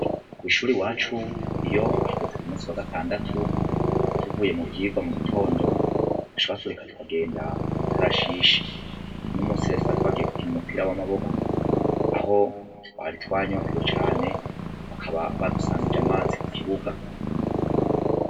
Kw'ishure iwacu iyo hageze ku musi wa gatandatu tuvuye mu vyigwa mu gitondo, baca batureka tukagenda mw'ikarashishi . Uno musi rero twari twagiye gukina umupira w'amaboko aho twari twanyotewe cane bakaba badusangije amazi ku kibuga.